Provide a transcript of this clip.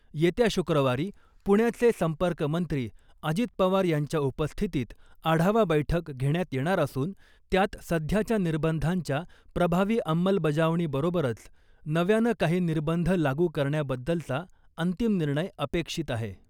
येत्या शुक्रवारी पुण्याचे संपर्क मंत्री अजित पवार यांच्या उपस्थितीत आढावा बैठक घेण्यात येणार असून त्यात सध्याच्या निर्बंधांच्या प्रभावी अंमलबजावणीबरोबरच नव्यानं काही निर्बंध लागू करण्याबद्दलचा अंतिम निर्णय अपेक्षित आहे .